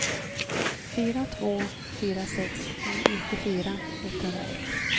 fyra två fyra sex nittiofyra etthundraett